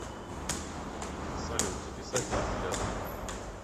салют записать на эпиляцию